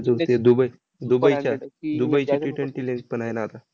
अजून ती दुबई दुबईच्या दुबईच्या Ttwenty league पण आहे ना आता.